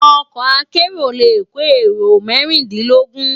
Òkò àkèéró lé kó éró mèrindinlógùn